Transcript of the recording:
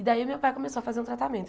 E daí meu pai começou a fazer o tratamento.